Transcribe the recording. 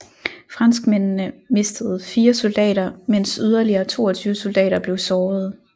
Franskmændene mistede 4 soldater mens yderligere 22 soldater blev sårede